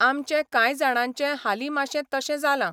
आमचें कांय जाणांचें हालीं माशें तशें जालां.